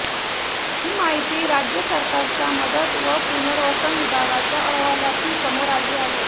ही माहिती राज्य सरकारच्या मदत व पुनर्वसन विभागाच्या अहवालातून समोर आली आहे